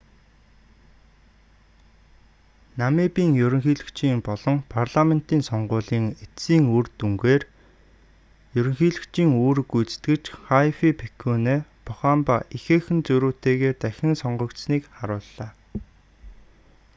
намибын ерөнхийлөгчийн болон парламентын сонгуулийн эцсийн үр дүнээр ерөнхийлөгчийн үүрэг гүйцэтгэгч хайфикепуне похамба ихээхэн зөрүүтэйгээр дахин сонгогдсоныг харууллаа